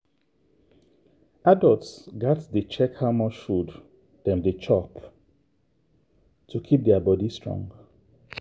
adults gats dey check how much food dem dey chop to keep their body strong.